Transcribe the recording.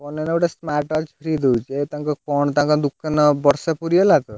Phone ନେଲେ ଗୋଟେ smartwatch free ଦଉଛି, କଣ ତାଙ୍କ ଦୋକାନ ବର୍ଷେ ପୁରି ଗଲା ତ!